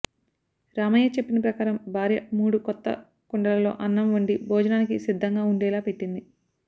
రామయ్య చెప్పిన ప్రకారం భార్య మూడు కొత్త కుండలలో అన్నం వండి భోజనానికి సిద్ధంగా ఉండేలా పెట్టింది